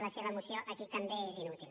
la seva moció aquí també és inútil